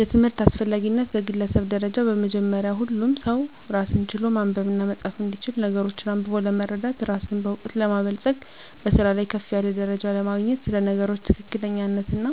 የትምህርት አስፈላጊነት በግለሰብ ደረጃ በመጀመሪያ ሁሉም ሰው ራስን ችሎ ማንበብና መፃፍ እንዲችል ነገሮችን አንብቦ ለመረዳት ራስን በእውቀት ለማበልፀግ በስራ ላይ ከፍ ያለ ደረጃ ለማግኘት ስለ ነገሮች ትክክለኛነትና